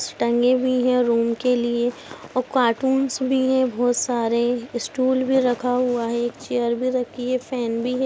टंगे भी है रूम के लिए और कार्टून्स भी है बहोत सारे स्टूल भी रखा हुआ है एक चेयर भी रखी है फेन भी है।